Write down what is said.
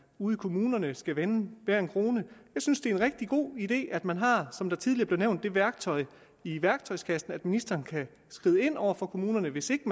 ude i kommunerne skal vende hver en krone jeg synes det er en rigtig god idé at man har som det tidligere blev nævnt det værktøj i værktøjskassen at ministeren kan skride ind over for kommunerne hvis ikke